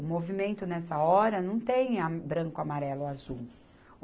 O movimento, nessa hora, não tem a branco, amarelo, azul.